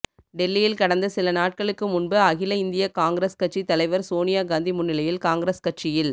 டெல்லியில் கடந்த சில நாட்களுக்கு முன்பு அகில இந்திய காங்கிரஸ் கட்சி தலைவர் சோனியா காந்தி முன்னிலையில் காங்கிரஸ் கட்சியில்